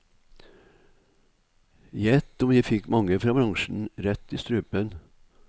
Gjett om jeg fikk mange fra bransjen rett i strupen.